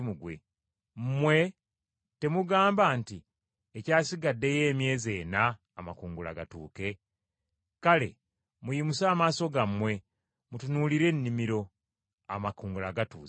Mmwe temugamba nti, ‘Ekyasigaddeyo emyezi ena amakungula gatuuke?’ Kale muyimuse amaaso gammwe, mutunuulire ennimiro! Amakungula gatuuse.